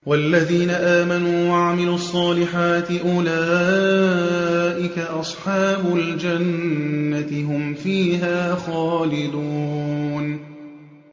وَالَّذِينَ آمَنُوا وَعَمِلُوا الصَّالِحَاتِ أُولَٰئِكَ أَصْحَابُ الْجَنَّةِ ۖ هُمْ فِيهَا خَالِدُونَ